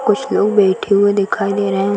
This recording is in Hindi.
कुछ लोग बैठे हुए दिखाई दे रहे हैं।